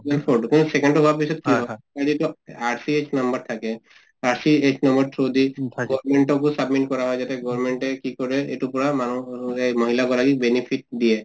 second টো হোৱাৰ পিছত RCH number থাকে , সেই through দি submit কৰা হয় যাতে government এ কি কৰে এইটোৰ পৰা মানুহৰ , মহিলা গৰাকীক benefit দিয়ে।